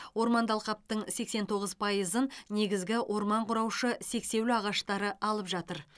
орманды алқаптың сексен тоғыз пайызын негізгі орман құраушы сексеуіл ағаштары алып жатыр